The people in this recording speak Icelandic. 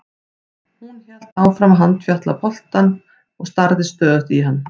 Hún hélt áfram að handfjatla bollann og starði stöðugt í hann.